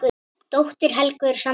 Dóttir Helgu er Sandra Rós.